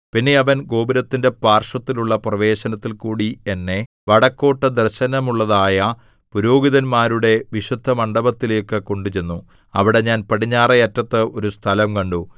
പിന്നെ അവൻ ഗോപുരത്തിന്റെ പാർശ്വത്തിലുള്ള പ്രവേശനത്തിൽകൂടി എന്നെ വടക്കോട്ടു ദർശനമുള്ളതായ പുരോഹിതന്മാരുടെ വിശുദ്ധമണ്ഡപങ്ങളിലേക്കു കൊണ്ടുചെന്നു അവിടെ ഞാൻ പടിഞ്ഞാറെ അറ്റത്ത് ഒരു സ്ഥലം കണ്ടു